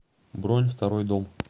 бронь второй дом